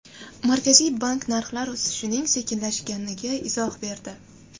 Markaziy bank narxlar o‘sishining sekinlashganiga izoh berdi.